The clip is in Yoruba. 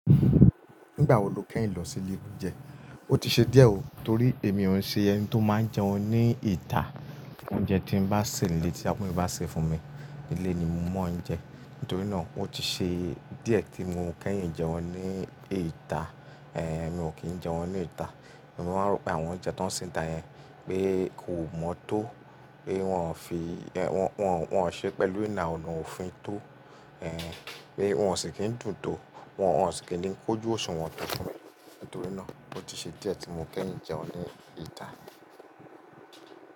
Nígbà wo lo kẹ́yìn lọ sí ilé oúnjẹ? Ó ti ṣe díẹ̀ ó, torí èmi òun ṣe ẹni tó máa ń jẹun ní ìta. Oúnjẹ tí n bá ṣè nílé tí àwọn ẹ́ni bá ṣẹ fún mi, ilé ni mò ń jẹun. Nítorí náà, ó ti ṣe díẹ̀ tí mo kẹ́yìn jẹun ní ìta. Èé, èmi ò kí ń jẹun ní ìta. Èmi máa ń rò pé àwọn oúnjẹ tó ń ṣẹ níta yẹn pé kò mọ́ tó, pé wọ́n ò fi-- wọ́n, wọ́n ò ṣe pẹ̀lú ìná, òun ò fín tó, ẹ́ẹ́n, pé wọ́n ò sì kí ń dùn tó, wọ́n ò sì kí ń kójú òṣùwọ̀n tó fún mi. Nítorí náà, ó ti ṣe díẹ̀ tí mo kẹ́yìn jẹun ní ìta.